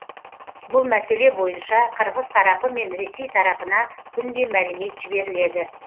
бұл мәселе бойынша қырғыз тарапы мен ресей тарапына күнде мәлімет жіберіледі